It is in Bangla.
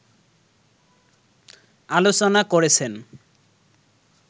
আলোচনা করেছেন